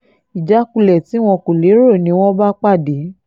ìjákulẹ̀ tí wọn kò lérò ni wọ́n bá pàdé